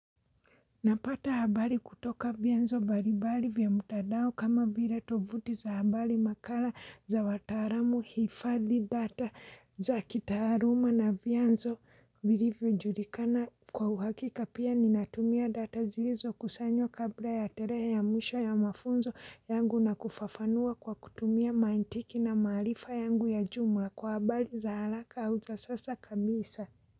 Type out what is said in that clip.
Napata habari kutoka vyanzo mbalimbali vya mtandao kama vile tovuti za habari makala za wataaalamu, hifadhi data za kitaaluma na vyanzo vilivyojulikana kwa uhakika pia ninatumia data zilizokusanywa kabla ya tarehe ya mwisho ya mafunzo yangu na kufafanua kwa kutumia mantiki na maarifa yangu ya jumla kwa habari za haraka au za sasa kabisa.